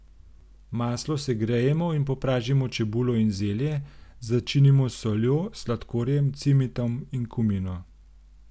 Maslo segrejemo in popražimo čebulo in zelje, začinimo s soljo, sladkorjem, cimetom in kumino.